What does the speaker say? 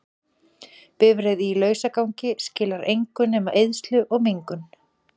Bifreið í lausagangi skilar engu nema eyðslu og mengun.